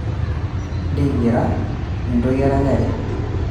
ntingira entoki eranyare